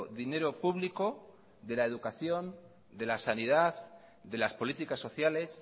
dinero público de la educación de la sanidad de las políticas sociales